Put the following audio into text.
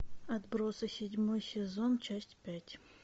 отбросы седьмой сезон часть пять